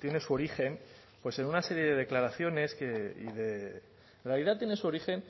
tiene su origen pues en una serie de declaraciones que en realidad tiene su origen